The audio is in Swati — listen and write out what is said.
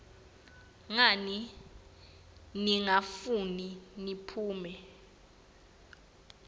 ngani ningafuni ngiphume